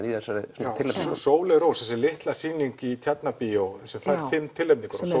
í þessari tilnefningu Sóley Rós þessi litla sýning í Tjarnarbíó sem fær fimm tilnefningar